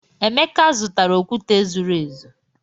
Emeka, zụtara okwute zuru ezu.